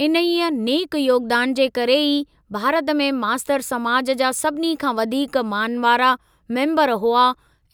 इन्हीअ नेक योगदान जे करे ई भारत में मास्तर समाज जा सभिनी खां वधीक मान वारा मेम्बर हुआ